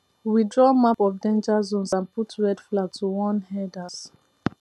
we draw map of danger zones and put red flag to warn herders